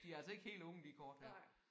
De altså ikke helt unge de kort her